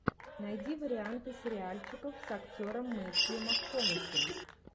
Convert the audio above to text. найди варианты сериальчиков с актером метью макконахи